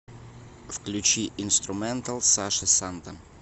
включи инструментал саша санта